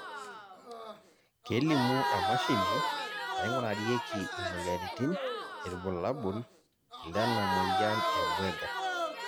kelimu emashini naingurarieki imoyiaritin irbulabol lena moyian e Buerger